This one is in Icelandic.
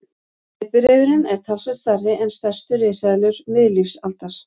Steypireyðurin er talsvert stærri en stærstu risaeðlur miðlífsaldar.